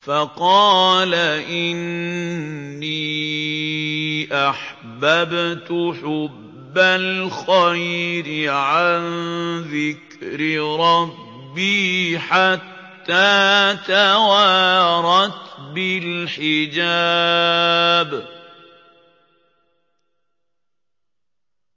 فَقَالَ إِنِّي أَحْبَبْتُ حُبَّ الْخَيْرِ عَن ذِكْرِ رَبِّي حَتَّىٰ تَوَارَتْ بِالْحِجَابِ